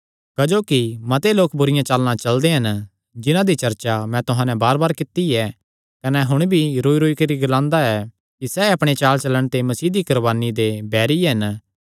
क्जोकि मते लोक बुरिआं चालां चलदे हन जिन्हां दी चर्चा मैं तुहां नैं बारबार कित्ती ऐ कने हुण भी रोईरोई करी ग्लांदा ऐ कि सैह़ अपणे चालचलण ते मसीह दी कुर्बानी दे बैरी हन